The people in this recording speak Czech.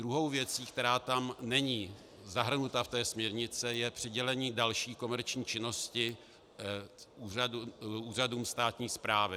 Druhou věcí, která tam není zahrnuta v té směrnici, je přidělení další komerční činnosti úřadům státní správy.